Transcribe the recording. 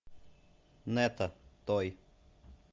нэта той